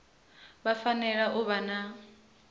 vha fanela u vha na